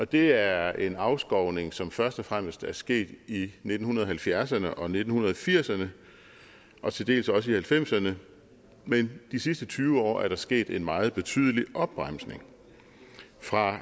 det er en afskovning som først og fremmest er sket i nitten halvfjerdserne og nitten firserne og til dels også i nitten halvfemserne men de sidste tyve år er der sket en meget betydelig opbremsning fra